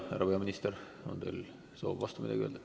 Härra peaminister, on teil soov midagi vastu öelda?